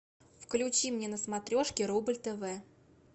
включи мне на смотрешке рубль тв